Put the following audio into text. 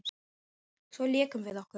Svo lékum við okkur.